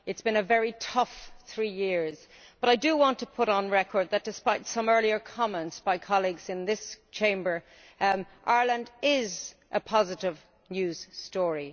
It has been a very tough three years but I do want to put on record that, despite some earlier comments by colleagues in this Chamber, Ireland is a positive news story.